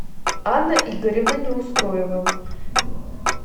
анна игоревна неустроева